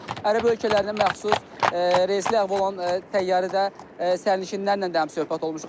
Ərəb ölkələrinə məxsus reysi ləğv olunan təyyarədə sərnişinlərlə də həmsöhbət olmuşuq.